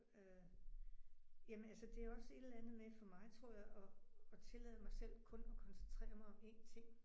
Øh jamen altså det er også et eller andet med for mig tror jeg at at tillade mig selv kun at koncentrere mig om en ting